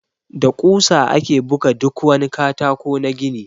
Da ƙusa ake buga duk wani katako na gini.